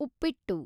ಉಪ್ಪಿಟ್ಟು